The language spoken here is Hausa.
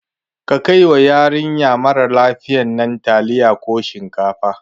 Ka kai wa yarinya marar lafiyan nan taliya ko shinkafa